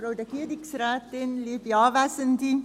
Zuerst möchte auch ich danken.